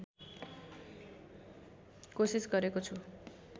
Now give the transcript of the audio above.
कोसिस गरेको छु